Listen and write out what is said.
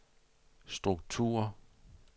struktur